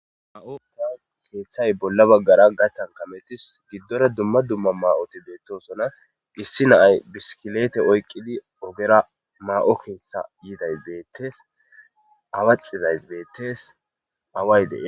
ma7ota keeththay bolla baggara gachan kametis giddore dumma dumma ma7oti beettosona dissi naay biskileete oyqqidi ogera maa7o keetha yiday beettees awa xizays beettes away de'iya